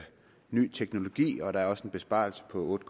ny teknologi og der er også en besparelse på otte